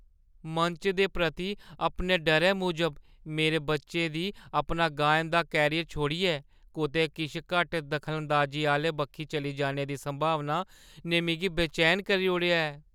मंच दे प्रति अपने डरै मूजब मेरे बच्चे दी अपना गायन दा करियर छोड़ियै कुतै किश घट्ट दखलांदाजी आह्‌ले बक्खी चली जाने दी संभावना ने मिगी बेचैन करी ओड़ेआ ऐ ।